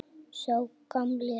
Vissi það.